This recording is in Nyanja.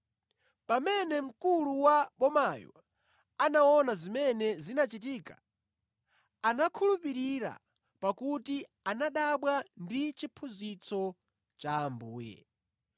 Pamene mkulu wa bomayo anaona zimene zinachitika anakhulupirira pakuti anadabwa ndi chiphunzitso cha Ambuye.